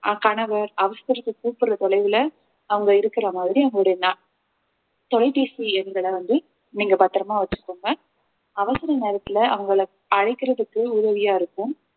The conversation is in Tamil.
அஹ் கணவர் அவசரத்துக்கு கூப்பிடுற தொலைவுல அவங்க இருக்கிற மாதிரி அவங்களுடைய ந~ தொலைபேசி எண்கள வந்து நீங்க பத்திரமா வச்சுக்கோங்க அவசர நேரத்துல அவங்களை அழைக்கிறதுக்கு உதவியா இருக்கும்